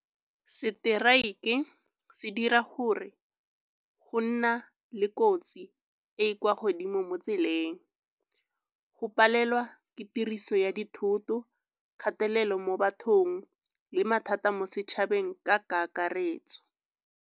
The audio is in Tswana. Strike-e se dira gore go nna le kotsi e e kwa godimo mo tseleng. Go palelwa ke tiriso ya dithoto, kgatelelo mo bathong le mathata mo setšhabeng ka kakaretso.